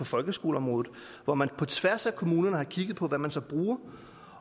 folkeskoleområdet hvor man på tværs af kommunerne har kigget på hvad man set på